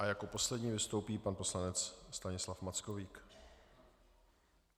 A jako poslední vystoupí pan poslanec Stanislav Mackovík.